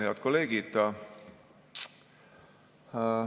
Head kolleegid!